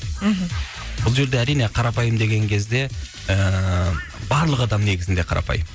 мхм бұл жерде әрине қарапайым деген кезде ііі барлық адам негізінде қарапайым